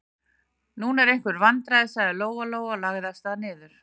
Nú eru einhver vandræði, sagði Lóa-Lóa og lagði af stað niður.